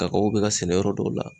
kakawo be ka sɛnɛ yɔrɔ dɔw la